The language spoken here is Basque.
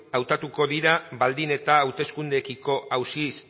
hautatuko dira baldin eta hauteskundeekiko auzi